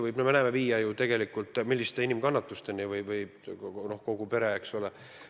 Nagu me näeme, sellised probleemid võivad viia suurte kannatusteni.